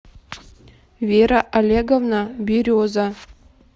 вера олеговна береза